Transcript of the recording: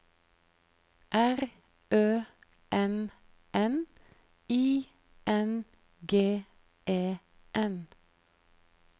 R Ø N N I N G E N